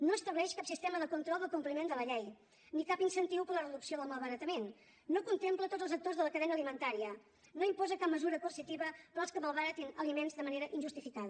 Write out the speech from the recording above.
no estableix cap sistema de control del compliment de la llei ni cap incentiu per a la reducció del malbaratament no contempla tots els actors de la cadena alimentària no imposa cap mesura coercitiva per als que malbaratin aliments de manera injustificada